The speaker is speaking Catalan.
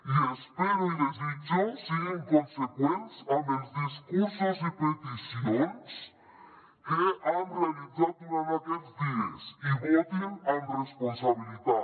i espero i desitjo que siguin conseqüents amb els discursos i peticions que han realitzat durant aquests dies i votin amb responsabilitat